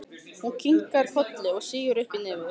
Hún kinkar kolli og sýgur upp í nefið.